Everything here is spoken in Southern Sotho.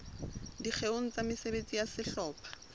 dikgeong tsa mesebetsi ya sehlopha